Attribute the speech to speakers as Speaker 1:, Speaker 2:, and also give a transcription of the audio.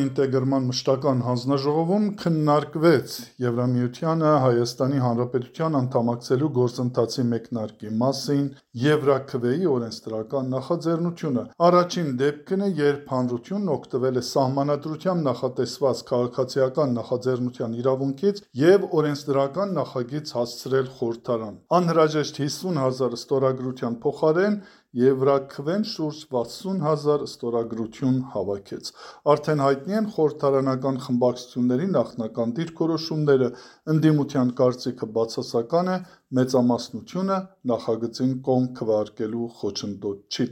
Speaker 1: ինտեգրման մշտական հանձնաժողովում քննարկվել է «ԵՄ-ին Հայաստանի Հանրապետության անդամակցելու գործընթացի մեկնարկի մասին» «Եվրաքվե»-ի օրենսդրական նախաձեռնությունը։ Առաջին դեպքն է, երբ հանրությունն օգտվել է Սահմանադրությամբ նախատեսված քաղաքացիական նախաձեռնության իրավունքից և օրենսդրական նախագիծ հասցրել խորհրդարան։ Անհրաժեշտ 50 հազար ստորագրության փոխարեն «Եվրաքվեն» շուրջ 60 հազար ստորագրություն է հավաքել։ Արդեն հայտնի են խորհրդարանական խմբակցությունների նախնական դիրքորոշումները․ ընդդիմության կարծիքը բացասական է, մեծամասնությունը նախագծին «կողմ» քվեարկելու խոչընդոտ
Speaker 2: չի